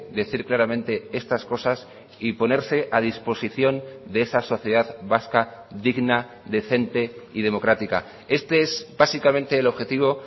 decir claramente estas cosas y ponerse a disposición de esa sociedad vasca digna decente y democrática este es básicamente el objetivo